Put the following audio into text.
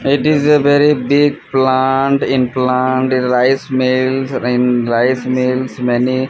it is a very big plant in plant rice mills in rice mills many--